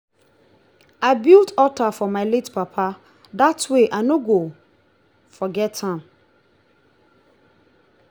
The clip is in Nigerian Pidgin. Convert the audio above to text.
i build alter for my late papa dat way i no go forget am